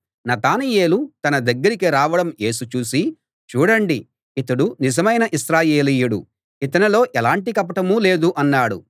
నతనయేలు తన దగ్గరికి రావడం యేసు చూసి చూడండి ఇతడు నిజమైన ఇశ్రాయేలీయుడు ఇతనిలో ఎలాంటి కపటమూ లేదు అన్నాడు